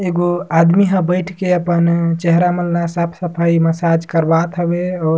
एगो आदमी हअ बईथ के अपन चेहरा मन ल साफ-सफाई मसाज हवे और--